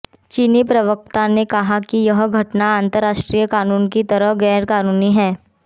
चीनी प्रवक्ता ने कहा कि यह घटना अंतरराष्ट्रीय कानून के तहत गैरकानूनी है